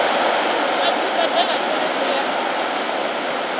a tshi badela tshelede ya